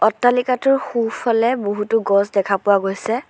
অট্টালিকাটোৰ সোঁফালে বহুতো গছ দেখা পোৱা গৈছে।